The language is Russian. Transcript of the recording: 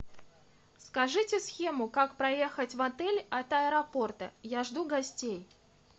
скажите схему как проехать в отель от аэропорта я жду гостей